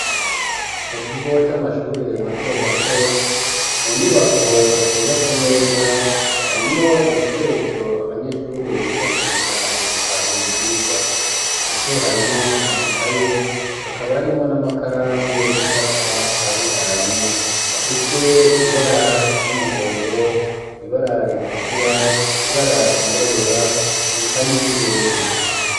mu kigo c'amashure mato mato, mu nyubako yubatse neza, harimwo ibikoresho abanyeshuri bifashisha mu gutahura ivyigwa, navyo harimwo amakaye hakaba harimwo n'amakaramu yo gucapa atandukanye afise ibara ry'umuhondo, ibara ritukura, ibara ryirabura reka n'iry'ubururu.